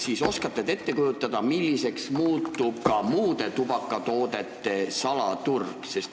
Kas te oskate ette kujutada, milliseks muutub ka muude tubakatoodete salaturg?